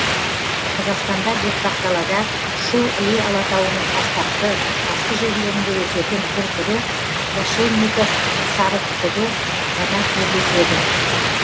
қазақстанда бетпақдалада шу іле алатауының тастақты тасты жерлерінде өсетін бір түрі крашенников сарытүтігі ғана кездеседі